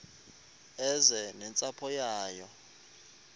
eze nentsapho yayo